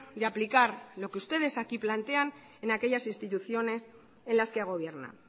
de aplicar lo que ustedes aquí plantean en aquellas instituciones en las que gobierna